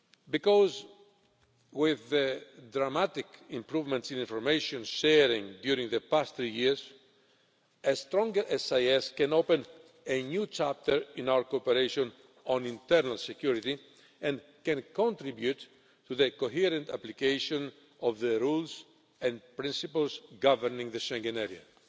Because with the dramatic improvements in information sharing during the past three years, a stronger SIS can open a new chapter in our cooperation on internal security and can contribute to the coherent application of the rules and principles governing the Schengen area.